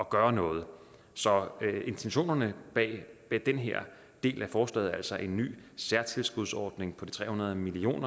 gøre noget så intentionerne bag den her del af forslaget altså en ny særtilskudsordning på de tre hundrede million